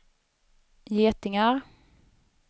getingar